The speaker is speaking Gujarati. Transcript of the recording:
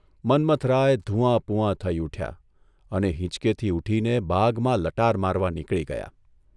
મન્મથરાય ધૂંઆપૂંઆ થઇ ઊઠ્યા અને હીંચકેથી ઊઠીને બાગમાં લટાર મારવા નીકળી ગયા.